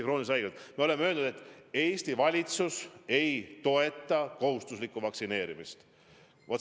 Samas me oleme öelnud, et Eesti valitsus ei toeta kohustuslikku vaktsineerimist.